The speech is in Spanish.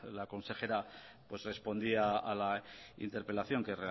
la consejera les respondía a la interpelación que